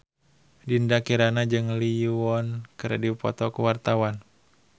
Dinda Kirana jeung Lee Yo Won keur dipoto ku wartawan